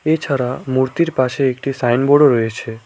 এছাড়া মূর্তির পাশে একটি সাইনবোর্ডও রয়েছে।